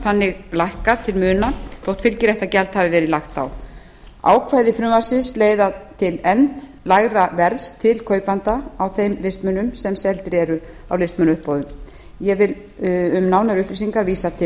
þannig lækkað til muna þótt fylgiréttargjald hafi verið lagt á ákvæði frumvarpsins leiða til enn lægra verðs til kaupanda á þeim listmunum sem seldir eru á listmunauppboðum ég vil um nánari upplýsingar vísa til